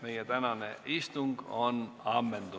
Meie tänane istung on lõppenud.